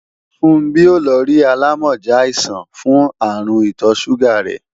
Funbí ó lọ rí alámọ̀já àìsàn fún àrùn ìtọ̀ sùgà rẹ́